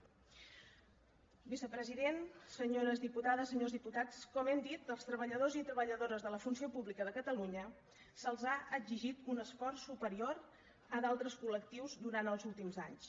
vicepresident senyores diputades senyors diputats com hem dit als treballadors i treballadores de la funció pública de catalunya se’ls ha exigit un esforç superior a d’altres col·lectius durant els últims anys